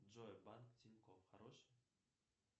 джой банк тинькофф хороший